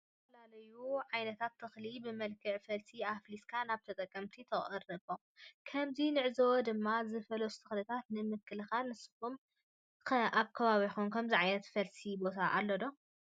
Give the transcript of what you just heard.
ዝተፈላለዩ ዓይነታት ተክሊ ብመልክዕ ፈልሲ አፍሊስካ ናብ ተጠቀምቲ ተቅረቦ። ከምዚ ንዕዞቦ ድማ ዝፈለሱ ተክልታት ንምልከት ንስካትኩም ከ አብ ከባቢኩም ከምዚ ዓይነት መፍለሲ ቦታ አሎ ዶ?